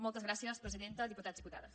moltes gràcies presidenta diputats diputades